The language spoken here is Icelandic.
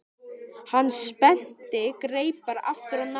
Hann spennti greipar aftur á hnakka.